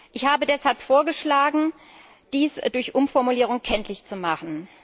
Ich habe deshalb vorgeschlagen, dies durch Umformulierung kenntlich zu machen.